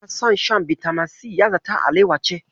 Ɗada yana son shan bitamin si, ya zata alawa ce.